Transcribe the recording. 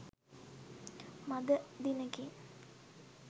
මඳ දිනෙකින්